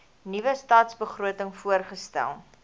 nuwe stadsbegroting voorgestel